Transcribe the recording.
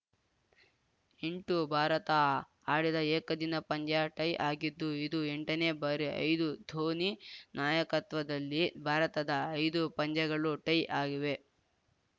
ಎಂಟು ಭಾರತ ಆಡಿದ ಏಕದಿನ ಪಂದ್ಯ ಟೈ ಆಗಿದ್ದು ಇದು ಎಂಟನೇ ಬಾರಿ ಐದು ಧೋನಿ ನಾಯಕತ್ವದಲ್ಲಿ ಭಾರತದ ಐದು ಪಂದ್ಯಗಳು ಟೈ ಆಗಿವೆ